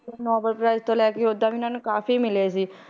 Nobel prize ਤੋਂ ਲੈ ਕੇ ਓਦਾਂ ਵੀ ਇਹਨਾਂ ਨੂੰ ਕਾਫ਼ੀ ਮਿਲੇ ਸੀ